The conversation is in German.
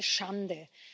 Das ist eine Schande!